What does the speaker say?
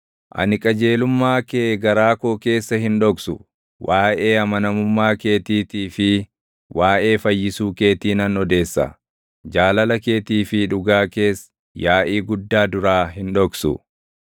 Ani qajeelummaa kee garaa koo keessa hin dhoksu; waaʼee amanamummaa keetiitii fi waaʼee fayyisuu keetii nan odeessa; jaalala keetii fi dhugaa kees yaaʼii guddaa duraa hin dhoksu.